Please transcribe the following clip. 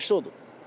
Ən yaxşısı odur.